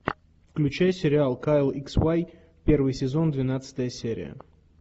включай сериал кайл икс уай первый сезон двенадцатая серия